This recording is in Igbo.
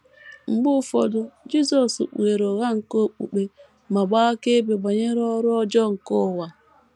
Mgbe ụfọdụ, Jisọs kpughere ụgha nke okpukpe ma gbaa akaebe banyere ọrụ ọjọọ nke ụwa.